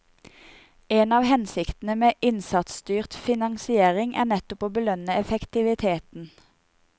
En av hensiktene med innsatsstyrt finansiering er nettopp å belønne effektivitet.